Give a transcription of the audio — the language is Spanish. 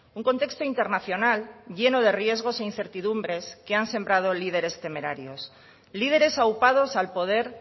un contexto internacional lleno de riesgos e incertidumbres que han sembrado líderes temerarios líderes aupados al poder